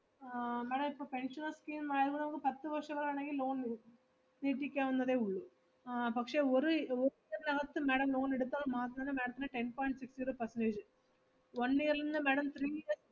ആഹ് madam ഇപ്പൊ pensional scheme ആയാകൂടെ നമുക്ക് പത്ത്‌ വർഷം വരെ വേണോങ്കി loan കൊടുക്കും, ചെയ്യിപ്പിക്കാവുന്നതേയുള്ളു, ആഹ് പക്ഷെ ഒര്~ ഒര് year നകത്ത് madam loan എടുത്താൽ മാത്രമേ madam ത്തിന് ten point six zero percentage കിട്ടു. one year ഇൽ നിന്നും madam three year